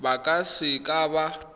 ba ka se ka ba